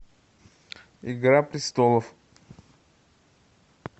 игра престолов